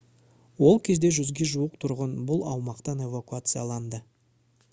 ол кезде 100-ге жуық тұрғын бұл аумақтан эвакуацияланды